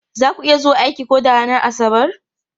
Za ku iya zuwa aiki ko da a ranar Asabar?